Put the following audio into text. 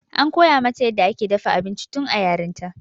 an koya mata yadda ake dafa abinci tun a yarinta